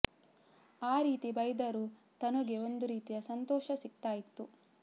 ಆ ರೀತಿ ಬೈದರೂ ತನುಗೆ ಒಂದು ರೀತಿಯ ಸಂತೋಷ ಸಿಕ್ತಾ ಇತ್ತು